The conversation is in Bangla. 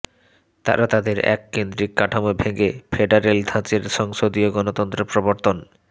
তারা তাদের এককেন্দ্রিক কাঠামো ভেঙে ফেডারেল ধাঁচের সংসদীয় গণতন্ত্র প্রবর্তন